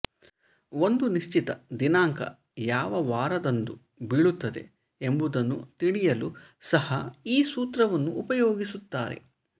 ಒಂದು ನಿಶ್ಚಿತ ದಿನಾಂಕ ಯಾವ ವಾರದಂದು ಬೀಳುತ್ತದೆ ಎಂಬುದನ್ನು ತಿಳಿಯಲೂ ಸಹ ಈ ಸೂತ್ರವನ್ನು ಉಪಯೋಗಿಸುತ್ತಾರೆ